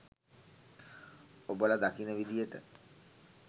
ඔබල දකින විදියට